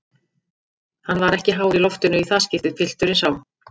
Hann var ekki hár í loftinu í það skiptið, pilturinn sá.